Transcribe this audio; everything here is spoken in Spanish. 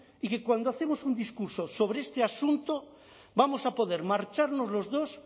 y que cuando hacemos un discurso sobre este asunto vamos a poder marcharnos los dos